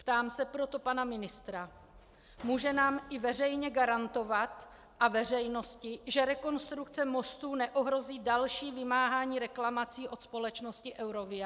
Ptám se proto pana ministra: Může nám i veřejně garantovat a veřejnosti, že rekonstrukce mostů neohrozí další vymáhání reklamací od společnosti Eurovia?